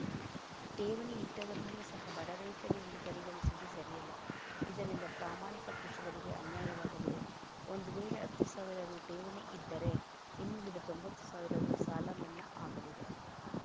ಠೇವಣಿ ಇಟ್ಟವರನ್ನು ಸಹ ಬಡ ರೈತರು ಎಂದು ಪರಿಗಣಿಸುವುದು ಸರಿಯಲ್ಲ ಇದರಿಂದ ಪ್ರಾಮಾಣಿಕ ಕೃಷಿಕರಿಗೆ ಅನ್ಯಾಯವಾಗಲಿದೆ ಒಂದು ವೇಳೆ ಹತ್ತು ಸಾವಿರ ರು ಠೇವಣಿ ಇದ್ದರೆ ಇನ್ನುಳಿದ ತೊಂಬತ್ತು ಸಾವಿರ ರು ಸಾಲಮನ್ನಾ ಆಗಲಿದೆ